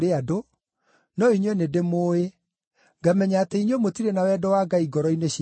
no inyuĩ nĩndĩmũũĩ. Ngamenya atĩ inyuĩ mũtirĩ na wendo wa Ngai ngoro-inĩ cianyu.